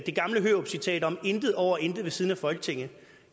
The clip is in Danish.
gamle hørupcitat om at intet er over intet ved siden af folketinget